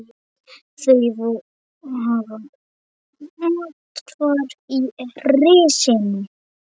Þau hafa athvarf í risinu.